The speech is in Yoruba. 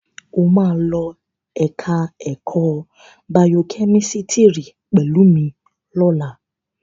Ó máa lọ ẹ̀ka ẹ̀kọ́ bayokẹ́mísítírì pẹ̀lú mi lọ́la.